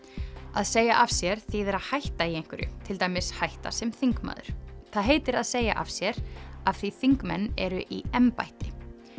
að segja af sér þýðir að hætta í einhverju til dæmis hætta sem þingmaður það heitir að segja af sér af því þingmenn eru í embætti